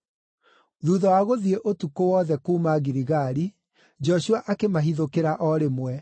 Thuutha wa gũthiĩ ũtukũ wothe kuuma Giligali, Joshua akĩmahithũkĩra o rĩmwe.